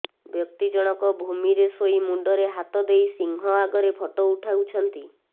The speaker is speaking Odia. ବ୍ୟକ୍ତି ଜଣକ ଭୂମିରେ ଶୋଇ ମୁଣ୍ଡରେ ହାତ ଦେଇ ସିଂହ ଆଗରେ ଫଟୋ ଉଠାଉଛନ୍ତି